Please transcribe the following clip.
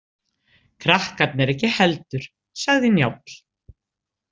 Krakkarnir ekki heldur, sagði Njáll.